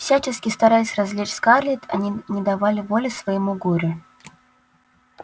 всячески стараясь развлечь скарлетт они не давали воли своему горю